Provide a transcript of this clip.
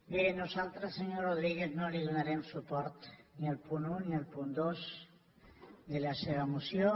bé nosaltres senyor rodríguez no donarem suport ni al punt un ni al punt dos de la seva moció